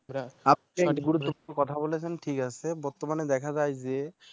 আপনি গুরুত্বপূর্ণ কথা বলেছেন ঠিক আছে বর্তমানে দেখা যায় যে